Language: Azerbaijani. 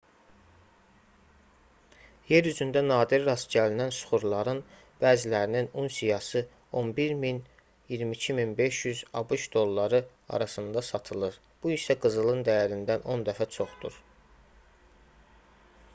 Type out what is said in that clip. yer üzündə nadir rast gəlinən süxurların bəzilərinin unsiyası 11 000 - 22 500 abş dolları arasında satılır bu isə qızılın dəyərindən 10 dəfə çoxdur